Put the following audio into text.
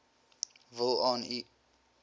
wil aan u